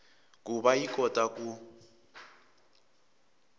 ku va yi kota ku